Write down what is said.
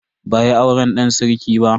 Ba a yi auren dan sarki ba.